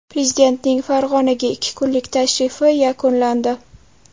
Prezidentning Farg‘onaga ikki kunlik tashrifi yakunlandi.